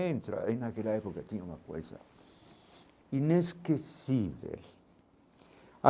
Entra, e naquela época tinha uma coisa inesquecível